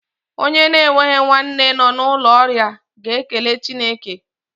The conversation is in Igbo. Onye na-enweghi nwanne nọ n'ụlọ ọrịa ga-ekele Chineke.